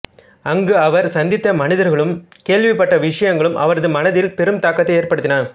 அங்கு அவர் சந்தித்த மனிதர்களும் கேள்விப்பட்ட விஷயங்களும் அவரது மனதில் பெரும் தாக்கத்தை ஏறபடுத்தின